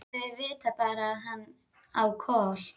Þau vita bara að hann á Kol.